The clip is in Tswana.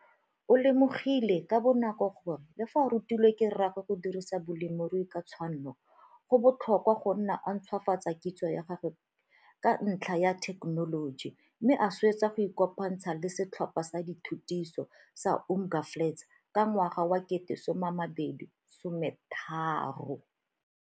O lemogile ka bonako gore, le fa a rutilwe ke rraagwe go dirisa bolemirui ka tshwanno, go botlhokwa go nna o ntshwafatsa kitso ya gago ka ntlha ya thekenoloji mme a swetsa go ikopantsha le Setlhopha sa Dithutiso sa Umnga Flats ka ngwaga wa 2013.